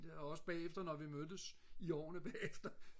der også bagefter da vi mødtes i årene bagefter